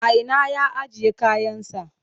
A ina ya ajiye kayansa?